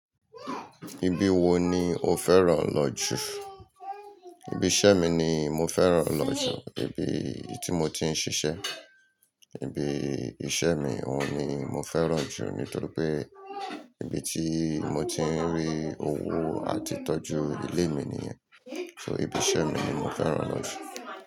Ibi wo ni o fẹ́ràn lọ jú? Ibi iṣẹ́ mi ni mo fẹ́ràn lọ jù. Ibi tí mo ti ń ṣiṣẹ́. Ibi iṣẹ́ mi, òun ni mo fẹ́ràn jù. Nítorí pé ibi tí mo ti ń rí owó àti tọ́jú ilé mi nìyen. So ibi iṣẹ́ mi ni mo fẹ́ràn lọ jù.